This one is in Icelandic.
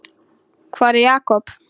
Hvar er Jakob?